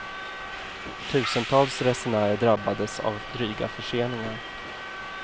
Tusentals resenärer drabbades av dryga förseningar.